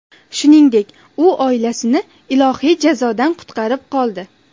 Shuningdek, u oilasini ilohiy jazodan qutqarib qoldi”.